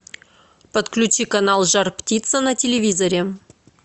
подключи канал жар птица на телевизоре